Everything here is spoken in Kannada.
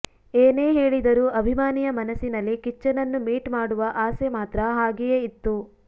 ಏನೇ ಹೇಳಿದರು ಅಭಿಮಾನಿಯ ಮನಸಿನಲ್ಲಿ ಕಿಚ್ಚನನ್ನು ಮೀಟ್ ಮಾಡುವ ಆಸೆ ಮಾತ್ರ ಹಾಗೆಯೆ ಇತ್ತು